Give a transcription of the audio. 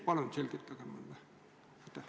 Palun selgitage mulle!